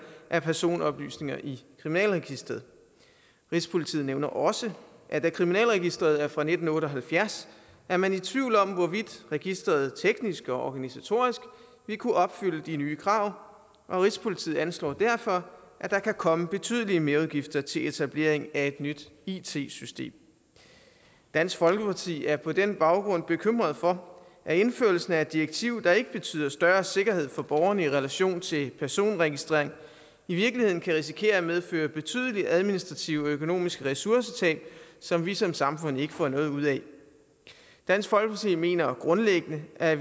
af personoplysninger i kriminalregisteret rigspolitiet nævner også at da kriminalregisteret er fra nitten otte og halvfjerds er man i tvivl om hvorvidt registeret teknisk og organisatorisk vil kunne opfylde de nye krav rigspolitiet anslår derfor at der kan komme betydelige merudgifter til etablering af et nyt it system dansk folkeparti er på den baggrund bekymret for at indførelsen af et direktiv der ikke betyder større sikkerhed for borgerne i relation til personregistrering i virkeligheden kan risikere at medføre betydelige administrative og økonomiske ressourcetab som vi som samfund ikke får noget ud af dansk folkeparti mener grundlæggende at